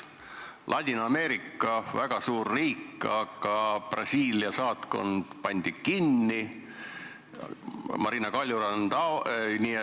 Ladina-Ameerika on väga suur piirkond, aga Brasiilia saatkond pandi kinni.